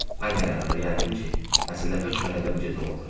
Mən də qərara gəldim ki, məsələ hökmən elə bu gecə olacaq.